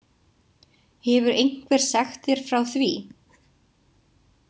Hefur einhver sagt þér frá því?